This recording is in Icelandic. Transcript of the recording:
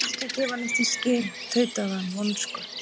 Ég er ekki að gefa neitt í skyn- tautaði hann vonsku